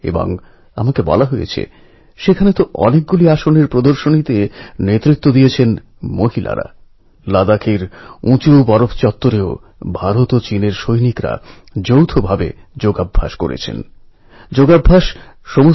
সমগ্র বিশ্ব আশ্চর্যান্বিত যে এইরকম বিপদসঙ্কুল পরিস্থিতি সত্ত্বেও উদ্ধারকারীরা জলমগ্ন অন্ধকার গুহাতে সাহস ও ধৈর্যের সঙ্গে কাজ করেছে আশা ছাড়েনি